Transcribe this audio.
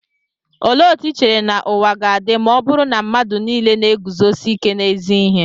Olee otú i chere na ụwa ga-adị ma ọ bụrụ na mmadụ nile na-eguzosi ike n'ezi ihe?